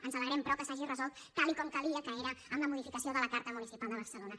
ens alegrem però que s’hagi resolt tal com calia que és amb la modificació de la carta municipal de barcelona